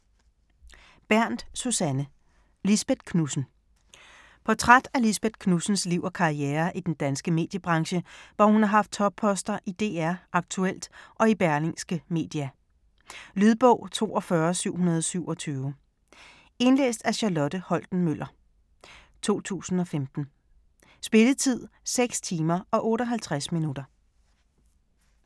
Bernth, Susanne: Lisbeth Knudsen Portræt af Lisbeth Knudsens (f. 1953) liv og karriere i den danske mediebranche, hvor hun har haft topposter i DR, Aktuelt og i Berlingske Media. Lydbog 42727 Indlæst af Charlotte Holten-Møller, 2015. Spilletid: 6 timer, 58 minutter.